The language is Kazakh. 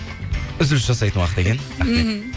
үзіліс жасайтын уақыт екен мхм